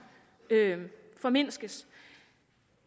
formindskes